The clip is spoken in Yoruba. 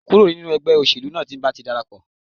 Kúrò nínú ẹgbẹ́ òṣèlú náà tí mo bá ti dara pọ̀